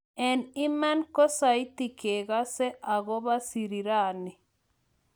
en iman kosaiti kegase agoba sirirani